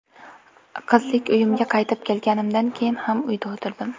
Qizlik uyimga qaytib kelganimdan keyin ham uyda o‘tirdim.